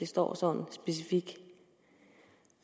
står sådan